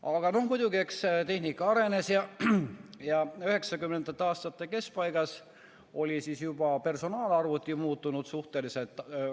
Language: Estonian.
Aga muidugi, eks tehnika arenes ja 1990. aastate keskpaigas oli juba personaalarvuti muutunud suhteliselt tavaliseks.